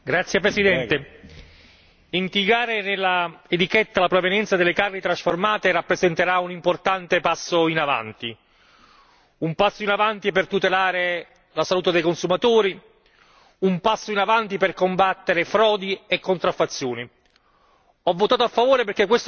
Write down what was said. Signor Presidente, onorevoli colleghi, indicare nell'etichetta la provenienza delle carni trasformate rappresenterà un importante passo in avanti, un passo in avanti per tutelare la salute dei consumatori, un passo in avanti per combattere frodi e contraffazioni.